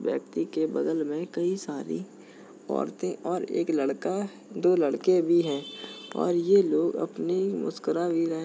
और इस व्यक्ति बगल में कई सारी औरतें और एक लड़का दो लड़के भी हैं और ये लोग अपनी मुस्कुरा भी रहे --